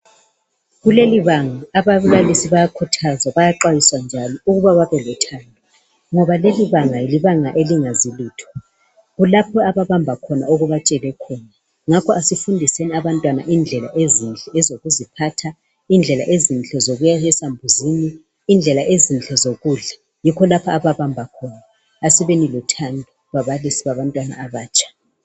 Kuleli banga ababilisi abayakhuthazwa, bayaxwayiswa njalo kuba babe lothando. Ngoba leli banga libanga elingazi lutho. Kulapho abahamba obatshele khona, ngakho asifundiseni abantwana indlela ezinhle ezokuziphatha, indlela ezinhle ezokuya esambuzini, indlela ezinhle zokudla. Yikho lapho abahamba khona. Asibeni lothando babalisi babantwana abatsha.